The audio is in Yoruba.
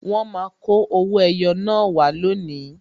Wọn máa kọ owó ẹyọ naa wá lónìí